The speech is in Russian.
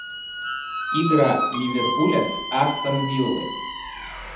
игра ливерпуля с астон виллой